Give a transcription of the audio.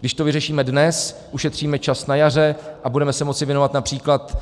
Když to vyřešíme dnes, ušetříme čas na jaře a budeme se moci věnovat například